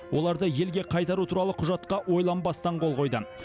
оларды елге қайтару туралы құжатқа ойланбастан қол қойды